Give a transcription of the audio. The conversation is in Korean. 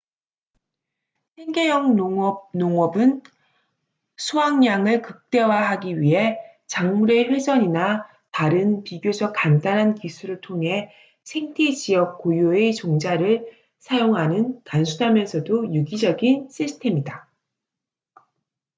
생계형 농업 농업은 수확량을 극대화하기 위해 작물의 회전이나 다른 비교적 간단한 기술을 통해 생태 지역 고유의 종자를 사용하는 단순하면서도 유기적인 시스템이다